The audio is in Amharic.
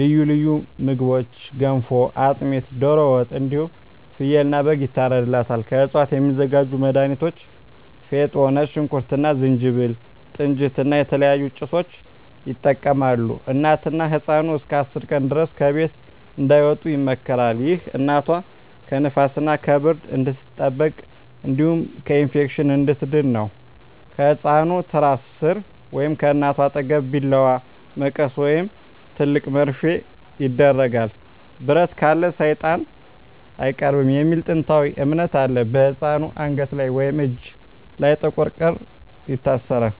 ልዩ ልዩ ምግቦች ገንፎ፣ አጥሚት፣ ዶሮ ወጥ እንዲሁም ፍየልና በግ ይታርድላታል። ከእፅዋት የሚዘጋጁ መድሀኒቶች ፌጦ፣ ነጭ ሽንኩርት እና ዝንጅብል፣ ጥንጅት እና የተለያዩ ጭሶችን ይጠቀማሉ። እናትና ህፃኑ እስከ 10 ቀን ድረስ ከቤት እንዳይወጡ ይመከራል። ይህ እናቷ ከንፋስና ከብርድ እንድትጠበቅ እንዲሁም ከኢንፌክሽን እንድትድን ነው። ከህፃኑ ትራስ ሥር ወይም ከእናቷ አጠገብ ቢላዋ፣ መቀስ ወይም ትልቅ መርፌ ይደረጋል። "ብረት ካለ ሰይጣን አይቀርብም" የሚል ጥንታዊ እምነት አለ። በህፃኑ አንገት ወይም እጅ ላይ ጥቁር ክር ይታሰራል።